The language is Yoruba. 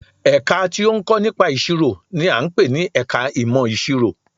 Ẹ̀ka tí ó ń kọ́ nípa ìṣirò n i à ń pè ní ẹka ìmọ̀ ìṣirò